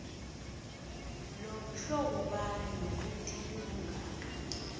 limhlobobani nokuthi libungako